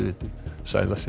sæl að sinni